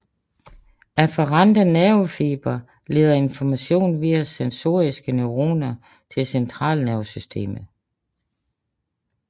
Afferente nervefibre leder information via sensoriske neuroner til centralnervesystemet